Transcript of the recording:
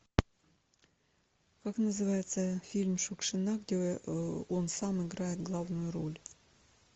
как называется фильм шукшина где он сам играет главную роль